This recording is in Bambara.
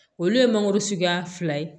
Olu ye mangoro suguya fila ye